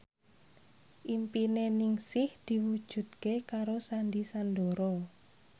impine Ningsih diwujudke karo Sandy Sandoro